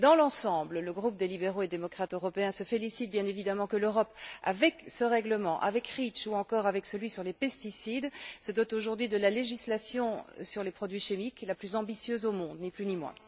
Mais, dans l'ensemble, le groupe des libéraux et démocrates européens se félicite, bien évidemment, de ce que l'Europe, avec ce règlement, avec REACH ou encore avec celui sur les pesticides, se dote aujourd'hui de la législation sur les produits chimiques la plus ambitieuse au monde, ni plus ni moins.